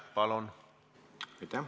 Palun!